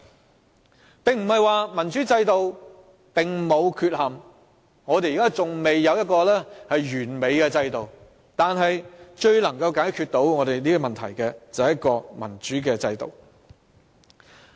這不是說民主制度沒有缺憾，我們現在仍未有一個完美制度，但至今而言，最能解決問題的仍是民主制度。